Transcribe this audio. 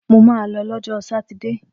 Mo ma lọ lọ́jọ́ sátidé!